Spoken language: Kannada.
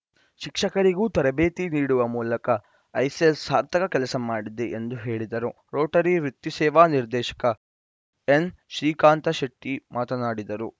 ಶಿಕ್ಷಕರಿಗೂ ತರಬೇತಿ ನೀಡುವ ಮೂಲಕ ಐಸೆಲ್‌ ಸಾರ್ಥಕ ಕೆಲಸ ಮಾಡಿದೆ ಎಂದು ಹೇಳಿದರು ರೋಟರಿ ವೃತ್ತಿಸೇವಾ ನಿರ್ದೇಶಕ ಎನ್‌ಶ್ರೀಕಾಂತಶೆಟ್ಟಿ ಮಾತನಾಡಿದರು